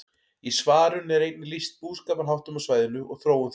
Í svarinu er einnig lýst búskaparháttum á svæðinu og þróun þeirra.